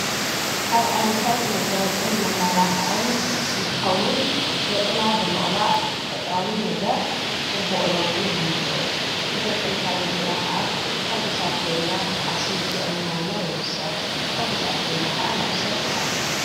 ካብ ዓይነታት መጋይጥን መማላኽዕን እንትኸውን ገጽና ብምቕባእ ተፈጥራዊ ነገር ጽቡቕ ለውጢ ነምጽእ እቲ ለውጥን ሕረምፂና ኸዓ ሓጕሳት ኴንና ዓርስም እትእምዋና ይውስኽ ሕጕሳት ኮይንና ኸዓ ናብ ሰብ ነቐረብ።